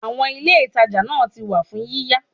Àwọn Ilé ìtajà náà ti wà fún yíyá.